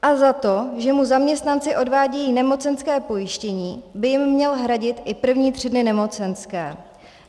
A za to, že mu zaměstnanci odvádějí nemocenské pojištění, by jim měl hradit i první tři dny nemocenské.